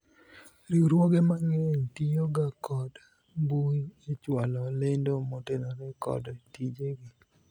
riwruoge mang'eny tiyo ga kod mbui echwalo lendo motenore kod tije gi